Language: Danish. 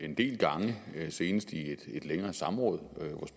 en del gange senest i et længere samråd